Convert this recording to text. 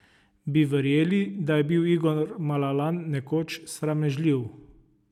Bi verjeli, da je bil Igor Malalan nekoč sramežljiv?